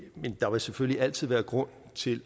men der vil selvfølgelig altid være grund til